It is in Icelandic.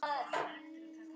Þau voru leið yfir þessu.